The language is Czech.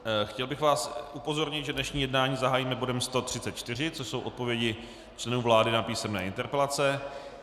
Chtěl bych vás upozornit, že dnešní jednání zahájíme bodem 134, což jsou odpovědi členů vlády na písemné interpelace.